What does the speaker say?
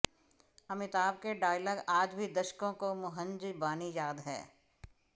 अमिताभ के डायलॉग आज भी दशकों काे मुंहजबानी याद हैं